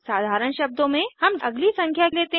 साधारण शब्दों में हम अगली संख्या लेते हैं